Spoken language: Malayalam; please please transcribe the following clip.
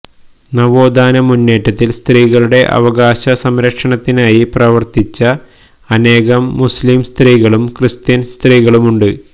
നവോത്ഥാന മുന്നേറ്റത്തില് സ്ത്രീകളുടെ അവകാശസംരക്ഷണത്തിനായി പ്രവര്ത്തിച്ച അനേകം മുസ്്ലിംസ്ത്രീകളും ക്രിസ്ത്യന് സ്ത്രീകളുമുണ്ട്